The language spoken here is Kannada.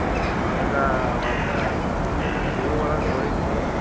ನಾವೆಲ್ಲಾ ಅವಾಗ TV ಒಳಗ್ ನೋಡಿದ್ವಿ.